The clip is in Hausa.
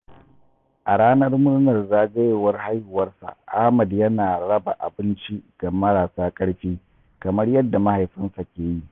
A ranar murnar zagayowar haihuwarsa, Ahmad yana raba abinci ga marasa karfi kamar yadda mahaifinsa ke yi.